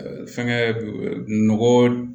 Fɛngɛ nɔgɔ